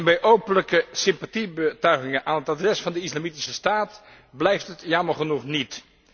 Bij openlijke sympathiebetuigingen aan het adres van de Islamitische Staat blijft het jammer genoeg niet.